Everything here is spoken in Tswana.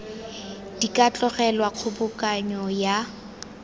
di ka tlogelwa kgobokanyo ya